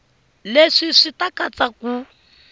leswi swi ta katsa ku